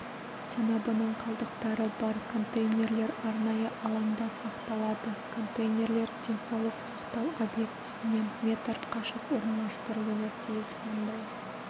сыныбының қалдықтары бар контейнерлер арнайы алаңда сақталады контейнерлер денсаулық сақтау объектісінен метр қашық орналастырылуы тиіс мұндай